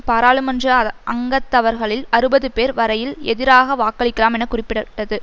பாராளுமன்ற அங்கத்தவர்களில் அறுபதுபேர் வரையில் எதிராக வாக்களிக்கலாம் என குறிப்பிடட்டது